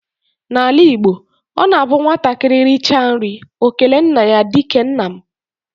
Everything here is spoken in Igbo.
Na ala Igbo, ọ na abụ nwatakịrị richa nri ọ kelee nna ya dike nna m.